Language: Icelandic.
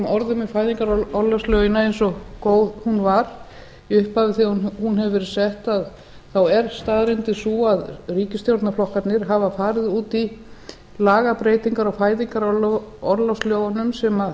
orðum um fæðingarorlofslögin eins góð þau voru í upphafi þegar þau voru sett þá er staðreyndin sú að ríkisstjórnarflokkarnir hafa farið út í lagabreytingar á fæðingarorlofslögunum sem